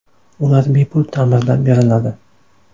Ular bepul ta’mirlab beriladi.